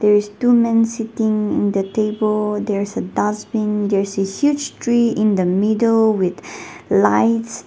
there is two men sitting in the table there is a dustbin there is a huge tree in the middle with lights.